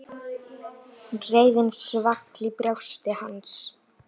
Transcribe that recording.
Reiðin svall í brjósti hans.